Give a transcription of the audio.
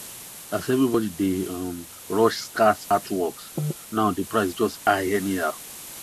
as everybody dey um rush scarce artworks now the price just high anyhow